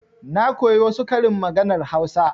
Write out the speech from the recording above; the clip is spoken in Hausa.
Na koyi wasu karin maganar hausa.